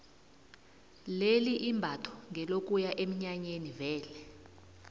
leli imbatho ngelokuya eminyanyeni vele